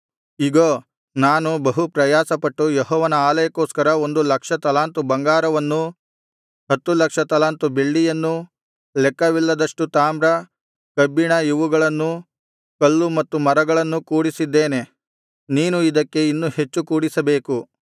ಇಗೋ ನಾನು ಬಹು ಪ್ರಯಾಸಪಟ್ಟು ಯೆಹೋವನ ಆಲಯಕ್ಕೋಸ್ಕರ ಒಂದು ಲಕ್ಷ ತಲಾಂತು ಬಂಗಾರವನ್ನೂ ಹತ್ತು ಲಕ್ಷ ತಲಾಂತು ಬೆಳ್ಳಿಯನ್ನೂ ಲೆಕ್ಕವಿಲ್ಲದಷ್ಟು ತಾಮ್ರ ಕಬ್ಬಿಣ ಇವುಗಳನ್ನೂ ಕಲ್ಲು ಮತ್ತು ಮರಗಳನ್ನೂ ಕೂಡಿಸಿದ್ದೇನೆ ನೀನು ಇದಕ್ಕೆ ಇನ್ನೂ ಹೆಚ್ಚು ಕೂಡಿಸಬೇಕು